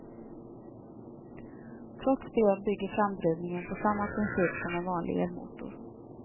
Trots det bygger framdrivningen på samma princip som en vanlig elmotor.